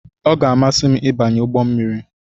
Ọ ga-amasị m ịbanye ụgbọ mmiri.